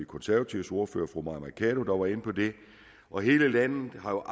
konservatives ordfører fru mai mercado der var inde på det og hele landet har jo